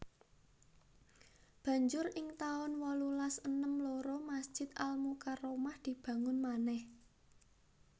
Banjur ing taun wolulas enem loro Masjid Al Mukarromah dibangun manèh